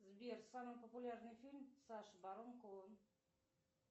сбер самый популярный фильм саша барон коэн